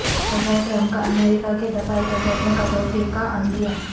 صدر ٹرمپ کا امریکہ کے دفاعی بجٹ میں کٹوتی کا عندیہ